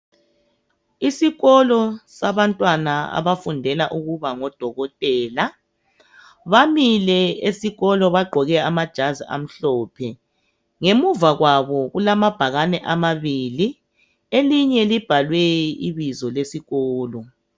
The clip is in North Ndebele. Isikolo sabantwana abafundela ukuba ngodokotela bamile esikolo bagqoke amajazi amhlophe ngemuva kwabo kulamabhakane amabili elinye libhalwe ibizo lesikolo.